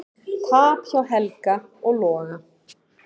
Tap hjá Helga og Loga